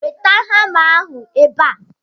Weta hama ahụ ebe a!